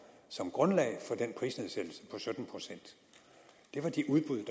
som grundlag for den prisnedsættelse på sytten procent det var de udbud